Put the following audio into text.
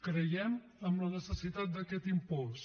creiem en la necessitat d’aquest impost